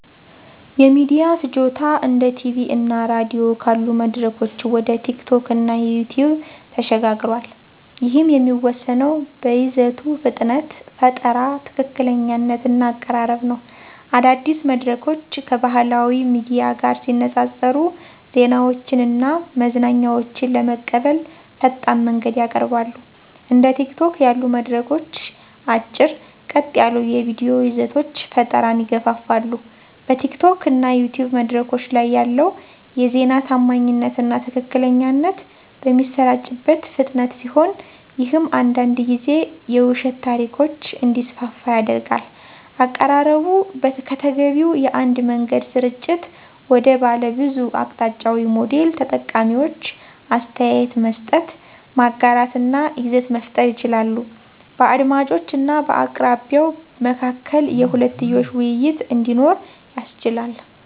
የሚዲያ ፍጆታ እንደ ቲቪ እና ራዲዮ ካሉ መድረኮች ወደ ቲኪቶክ እና ዩቲዩብ ተሸጋግሯል፤ ይህም የሚወሰነው በይዘቱ ፍጥነት፣ ፈጠራ፣ ትክክለኛነት እና አቀራረብ ነው። አዳዲስ መድረኮች ከባህላዊ ሚዲያ ጋር ሲነፃፀሩ ዜናዎችን እና መዝናኛዎችን ለመቀበል ፈጣን መንገድን ያቀርባሉ። እንደ ቲኪቶክ ያሉ መድረኮች አጭር፣ ቀጥ ያሉ የቪዲዮ ይዘቶች ፈጠራን ይገፋፋሉ። በቲኪቶክ እና ዩቲዩብ መድረኮች ላይ ያለው የዜና ታማኝነት እና ትክክለኛነት በሚሰራጭበት ፍጥነት ሲሆን ይህም አንዳንድ ጊዜ የውሸት ታሪኮች እንዲስፋፉ ያደርጋል። አቀራረቡ ከተገቢው የአንድ መንገድ ስርጭት ወደ ባለብዙ አቅጣጫዊ ሞዴል ተጠቃሚዎች አስተያየት መስጠት፣ ማጋራት እና ይዘት መፍጠር ይችላሉ። በአድማጮች እና በአቅራቢው መካከል የሁለትዮሽ ውይይት እንዲኖር ያስችላል።